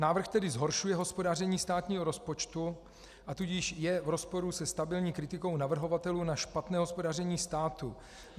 Návrh tedy zhoršuje hospodaření státního rozpočtu a tudíž je v rozporu se stabilní kritikou navrhovatelů na špatné hospodaření státu.